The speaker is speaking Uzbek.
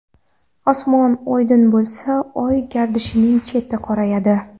Osmon oydin bo‘lsa, Oy gardishining cheti qorayadi.